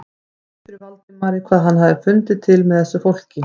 Það rifjaðist upp fyrir Valdimari hvað hann hafði fundið til með þessu fólki.